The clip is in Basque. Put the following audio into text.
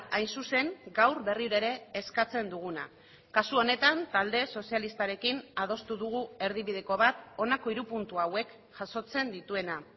hain zuzen gaur berriro ere eskatzen duguna kasu honetan talde sozialistarekin adostu dugu erdibideko bat honako hiru puntu hauek jasotzen dituena